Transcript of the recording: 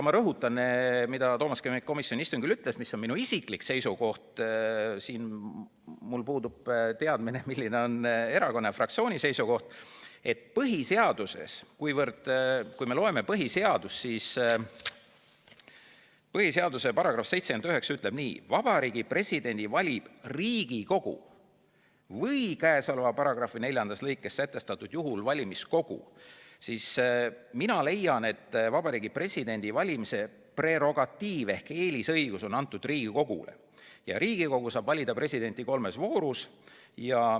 Rõhutan veel seda, mida ma ka komisjoni istungil ütlesin ja mis on minu isiklik seisukoht – mul puudub teadmine, milline on erakonna ja fraktsiooni seisukoht –, et kuivõrd põhiseaduse § 79 ütleb nii: "Vabariigi Presidendi valib Riigikogu või käesoleva paragrahvi neljandas lõikes sätestatud juhul valimiskogu", siis mina leian, et Vabariigi Presidendi valimise prerogatiiv ehk eelisõigus on antud Riigikogule, kes saab valida presidenti kolmes voorus.